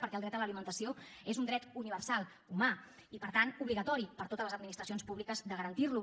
perquè el dret a l’alimentació és un dret universal humà i per tant obligatori per a totes les administracions públiques de garantirlo